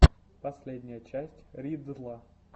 последняя часть ридддла